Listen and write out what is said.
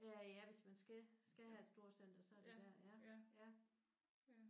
Øh ja hvis man skal skal have et storcenter så er det der ja